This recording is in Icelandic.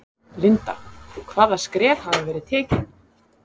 Linda: Hvaða skref hafa verið tekin?